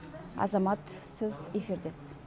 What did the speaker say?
азамат сіз эфирдесіз